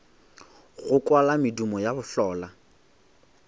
go kwala medumo ya bohlola